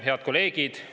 Head kolleegid!